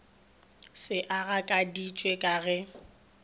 se a gakaditše ka ge